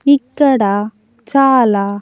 ఇక్కడ చాలా--